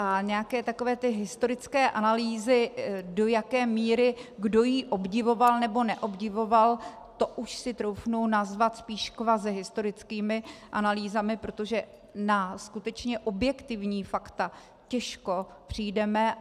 A nějaké takové ty historické analýzy, do jaké míry kdo ji obdivoval nebo neobdivoval, to už si troufnu nazvat spíš kvazihistorickými analýzami, protože na skutečně objektivní fakta těžko přijdeme.